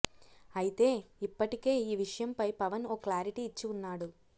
అయితే ఇప్పటికే ఈ విషయంపై పవన్ ఓ క్లారిటీ ఇచ్చి ఉన్నాడు